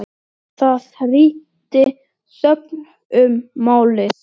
Til hvers eigin lega?